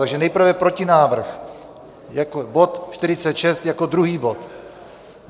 Takže nejprve protinávrh, bod 46 jako druhý bod.